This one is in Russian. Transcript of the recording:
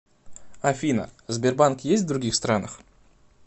афина сбербанк есть в других странах